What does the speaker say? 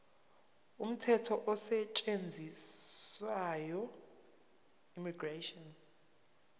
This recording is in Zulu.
umthetho osetshenziswayo immigration